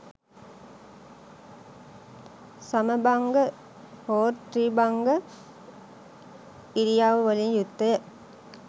සමභංග හෝ ත්‍රිභංග ඉරියව් වලින් යුක්ත ය.